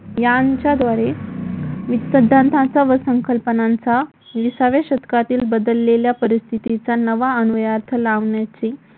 यांच्याद्वारे वित्तसिद्धांतांचा व संकल्पनांचा विसाव्या शतकातील बदललेल्या परिस्थितीचा नवा अन्वयार्थ लावण्याचे